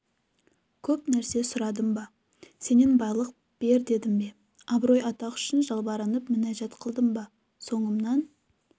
көп нәрсе сұрадым ба сенен байлық бер дедім бе абырой-атақ үшін жалбарынып мінәжат қылдым ба соңымнан